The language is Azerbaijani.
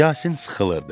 Yasin sıxılırdı.